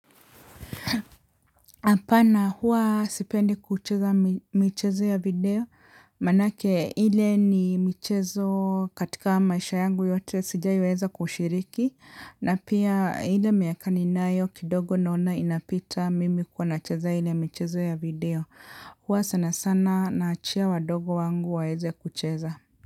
Hapana huwa sipendi kucheza michezo ya video manake ile ni michezo katika maisha yangu yote sijaiwahi weza kushiriki, na pia ile miaka ninayo kidogo naona inapita mimi kuwa nacheza ile michezo ya video. Huwa sana sana na achia wadogo wangu waeze kucheza.